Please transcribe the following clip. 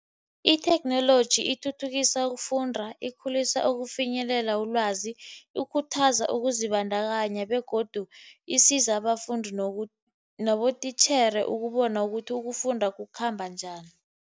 Itheknoloji ithuthukisa ukufunda. Ikhulisa ukufinyelela ulwazi. Ikhuthaza ukuzibandakanya, begodu isiza abafundi nabotitjhere ukubona ukuthi ukufunda kukhamba njani.